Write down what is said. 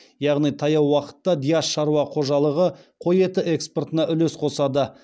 яғни таяу уақытта диас шаруа қожалығы қой еті экспортына үлес қосады